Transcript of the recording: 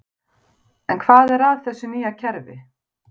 En hvað er að þessu nýja kerfi?